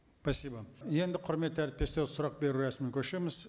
спасибо енді құрметті әріптестер сұрақ беру рәсіміне көшеміз